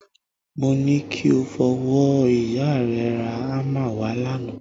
Mo ní kí o fowó ìyá rẹ ra hámà wà lánàá